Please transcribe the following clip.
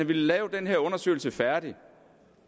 villet lave den her undersøgelse færdig